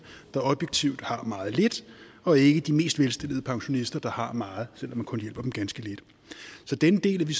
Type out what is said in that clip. der objektivt set har meget lidt og ikke de mest velstillede pensionister der har meget selv om man kun hjælper dem ganske lidt så den del er vi